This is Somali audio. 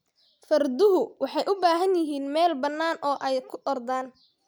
Farduhu waxay u baahan yihiin meel bannaan oo ay ku ordaan.